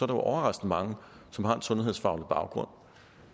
er overraskende mange som har en sundhedsfaglig baggrund